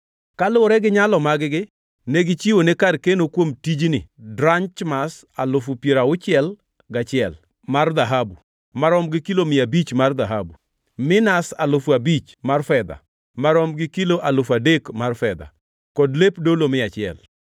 Kaluwore gi nyalo mag-gi negichiwone kar keno kuom tijni drachmas alufu piero auchiel gachiel (61,000) mar dhahabu (marom gi kilo mia abich mar dhahabu), minas alufu abich (5,000) mar fedha (marom gi kilo alufu adek mar fedha) kod lep dolo mia achiel.